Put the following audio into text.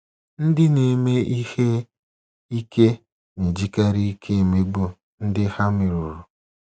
Ndị na-eme ihe ike na-ejikarị ike emegbu ndị ha merụrụ.